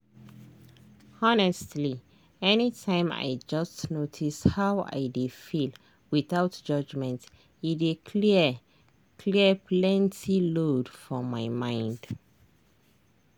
honestly anytime i just notice how i dey feel without judgment e dey clear clear plenty load for my mind.